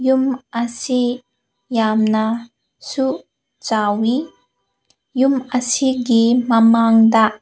ꯑꯁꯤ ꯌꯥꯝꯅ ꯁꯨ ꯆꯥꯎꯏ ꯌꯨꯝ ꯑꯁꯤꯒꯤ ꯃꯃꯥꯡꯗ --